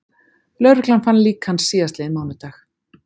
Lögreglan fann lík hans síðastliðinn mánudag